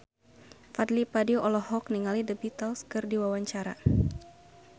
Fadly Padi olohok ningali The Beatles keur diwawancara